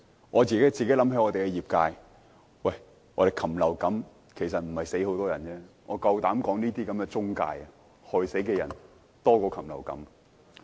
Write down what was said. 我想起我代表的業界，禽流感其實沒有導致很多人死亡，我敢說這些中介公司害死的人比禽流感多。